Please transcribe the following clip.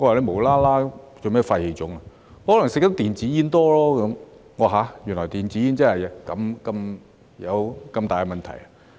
他說可能因為吸食太多電子煙，我說原來電子煙真的有這麼大的問題。